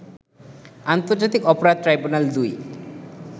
আন্তর্জাতিক অপরাধ ট্রাইব্যুনাল ২